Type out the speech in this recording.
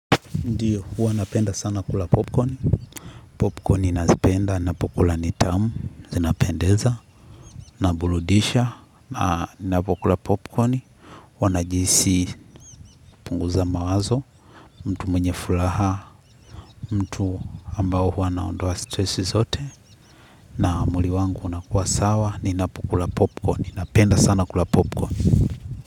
Ndiyo, huwa napenda sana kula popcorn, popcorn ninazipenda, napo kula nitamu, zinapendeza, naburudisha, napokula popcorn, huwa najihisi kupunguza mawazo, mtu mwenye furaha, mtu ambao huwa naondoa stresi zote, na mwili wangu unakua sawa, ninapo kula popcorn, napenda sana kula popcorn.